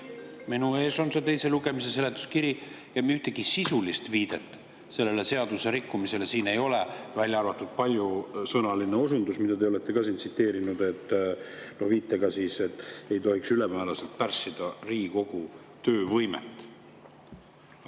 Minu ees on see teise lugemise seletuskiri ja ühtegi sisulist viidet sellele seaduserikkumisele siin ei ole, välja arvatud paljusõnaline osundus, mida te olete siin ka tsiteerinud, et ei tohiks ülemääraselt pärssida Riigikogu töövõimet.